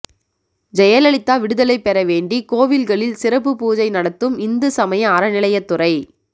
ஜெயலலிதா விடுதலை பெற வேண்டி கோவில்களில் சிறப்பு பூஜை நடத்தும் இந்து சமய அறநிலையத்துறை